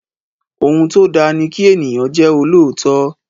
Ohun tó da ni kí ènìyàn jẹ́ olóòótọ́.